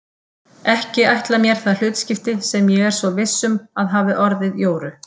Ekki ætla mér það hlutskipti sem ég er svo viss um að hafi orðið Jóru.